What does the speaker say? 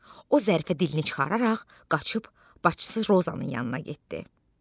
O Zərifə dilini çıxararaq qaçıb başçısı Rozanın yanına getdi.